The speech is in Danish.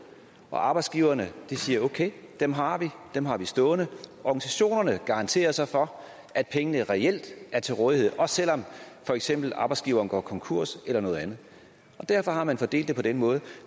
så arbejdsgiverne siger okay dem har vi dem har vi stående organisationerne garanterer så for at pengene reelt er til rådighed også selv om for eksempel arbejdsgiveren går konkurs eller noget andet derfor har man fordelt det på den måde